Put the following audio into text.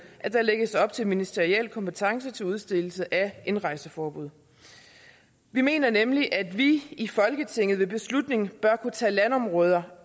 at der lægges op til ministeriel kompetence til udstedelse af indrejseforbud vi mener nemlig at vi i folketinget ved beslutning bør kunne tage landområder